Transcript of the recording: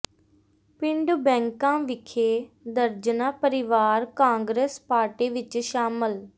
ਪਿੰਡ ਬੈਂਕਾ ਵਿਖੇ ਦਰਜਨਾਂ ਪਰਿਵਾਰ ਕਾਂਗਰਸ ਪਾਰਟੀ ਵਿਚ ਸ਼ਾਮਿਲ